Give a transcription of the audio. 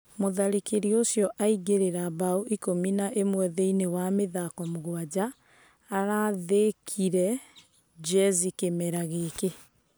Mũtharĩkĩri ũcio aingĩria mbao ikũmi na ĩmwe thĩinĩ wa mĩthako mũgwanja arathĩkire Jezzy kĩmera gĩkĩ.